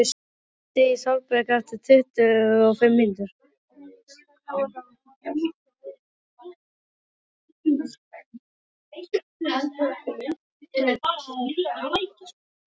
Aðalsteinn, hringdu í Salberg eftir tuttugu og fimm mínútur.